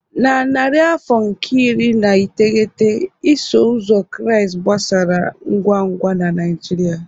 Na narị afọ nke iri na iteghete, iso ụzọ Kraịst gbasara ngwa ngwa na Nigeria.